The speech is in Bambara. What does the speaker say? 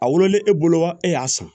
A wololen e bolo wa e y'a san